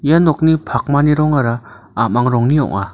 ia nokni pakmani rongara a·mang rongni ong·a.